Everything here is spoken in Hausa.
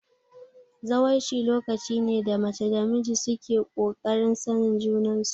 Zawarci lokaci ne da mace da namiji suke kokarin sanin junan su